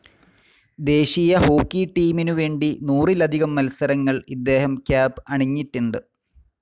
ദേശീയ ഹോക്കി ടീമിനു വേണ്ടി നൂറിലധികം മൽസരങ്ങൾ ഇദ്ദേഹം ക്യാപ്‌ അണിഞ്ഞിട്ടിണ്ട്.